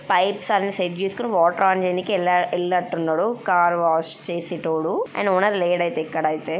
Pipes అన్నిసెట్ చేసుకొని water on చేయడానికి వెల్ వెళ్ళినట్టున్నాడు కార్ వాష్ చేసేటోడు అండ్ ఓనర్ లేడైతే ఇక్కడైతే.